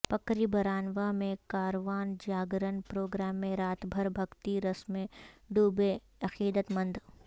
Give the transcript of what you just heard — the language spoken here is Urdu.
پکری برانواں میں کاروان جاگرن پروگرام میں رات بھر بھکتی رس میں ڈوبے عقیدت مند